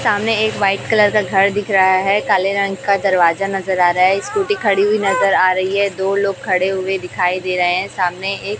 सामने एक white colour का घर दिख रहा है काले रंग का दरवाजा नजर आ रहा है स्कूटी खड़ी हुई नजर आ रही है दो लोग खड़े हुए दिखाई दे रहे हैं सामने एक--